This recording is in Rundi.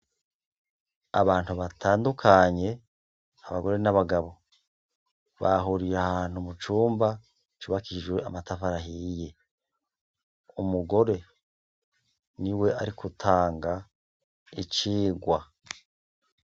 Abantu batandukanye abagore n' abagabo bahuriye ahantu mucumba cubakishijwe amatafari ahiye umugore niwe arigutanga icigwa .